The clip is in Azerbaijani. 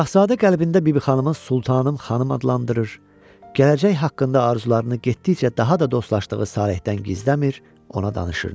Şahzadə qəlbində Bibixanımı Sultanım xanım adlandırır, gələcək haqqında arzularını getdikcə daha da dostlaşdığı Salehdən gizləmir, ona danışırdı.